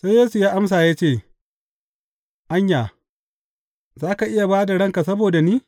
Sai Yesu ya amsa ya ce, Anya, za ka iya ba da ranka saboda ni?